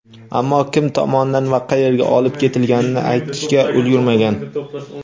ammo kim tomonidan va qayerga olib ketilganini aytishga ulgurmagan.